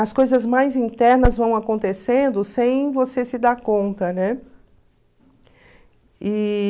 as coisas mais internas vão acontecendo sem você se dar conta, né? E...